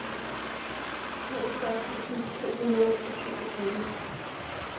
toogfyrre tusind to hundrede og syvogtyve